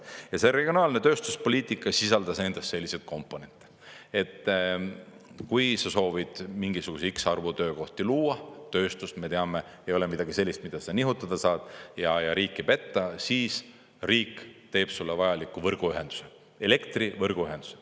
Ja see on regionaalne tööstuspoliitika sisaldas endas selliseid komponente, et kui sa soovid mingisuguse x arvu töökohti luua – tööstus, me teame, ei ole midagi sellist, mida sa nihutada saad ja riiki petta –, siis riik teeb sulle vajaliku võrguühenduse, elektrivõrguühenduse.